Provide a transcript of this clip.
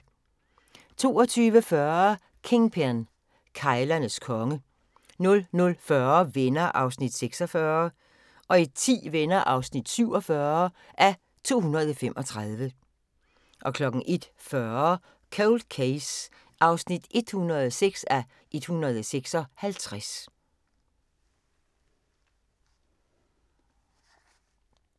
22:40: Kingpin – keglernes konge 00:40: Venner (46:235) 01:10: Venner (47:235) 01:40: Cold Case (106:156)